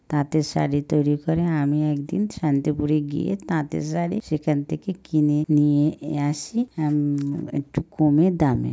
তাঁতের শাড়ি তৈরী করে আমি একদিন শান্তিপুরে গিয়ে তাঁতের শাড়ি সেখান থেকে কিনে নিয়ে আসি এম একটু কমে দামে।